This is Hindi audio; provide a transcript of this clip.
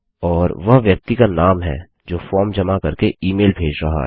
और वह व्यक्ति का नाम है जो फॉर्म जमा करके ईमेल भेज रहा है